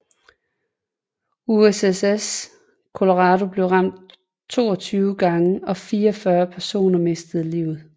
USS Colorado blev ramt 22 gange og 44 personer mistet livet